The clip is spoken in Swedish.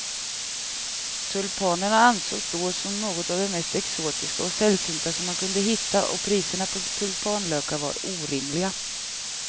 Tulpanen ansågs då som något av det mest exotiska och sällsynta som man kunde hitta och priserna på tulpanlökar var orimliga.